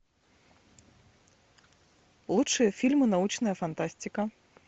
лучшие фильмы научная фантастика